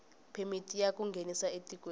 phemiti ya ku nghenisa etikweni